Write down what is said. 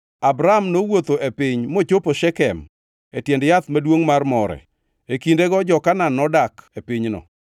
Abram nowuotho e piny mochopo Shekem e tiend yath maduongʼ mar More. E kindego jo-Kanaan nodak e pinyno.